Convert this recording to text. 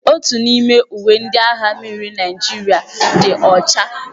Otu n'ime uwe ndị agha mmiri Naịjirịa dị ọcha.